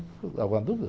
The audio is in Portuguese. Ficou com alguma dúvida?